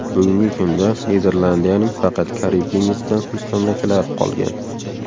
Bugungi kunda Niderlandiyaning faqat Karib dengizida mustamlakalari qolgan.